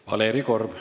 Valeri Korb.